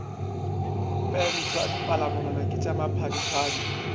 pentwa dipalamonwana ke tša maphadiphadi